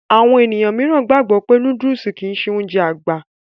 Àwọn ènìyàn míìràn gbàgbọ́ wípé nóódùsì kìí ṣe Ounjẹ àgbà